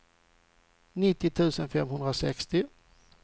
nittio tusen femhundrasextio